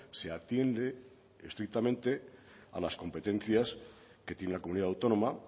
se atiende estrictamente a las competencias que tiene la comunidad autónoma